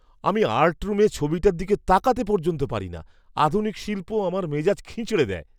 আমি আর্ট রুমে ছবিটার দিকে তাকাতে পর্যন্ত পর্যন্ত পারি না; আধুনিক শিল্প আমার মেজাজ খিঁচড়ে দেয়।